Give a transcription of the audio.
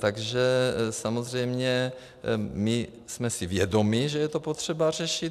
Takže samozřejmě my jsme si vědomi, že je to potřeba řešit.